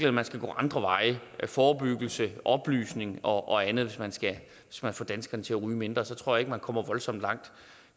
at man skal gå andre veje forebyggelse oplysning og andet hvis man skal få danskerne til at ryge mindre tror jeg ikke man kommer voldsomt langt